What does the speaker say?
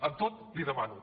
amb tot li demano